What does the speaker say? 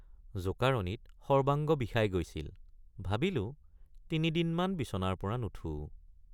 জোকাৰণিত সৰ্বাঙ্গ বিষাই গৈছিল ভাবিলোঁতিনিদিনমান বিছনাৰপৰা নুঠোঁ।